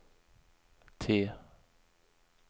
T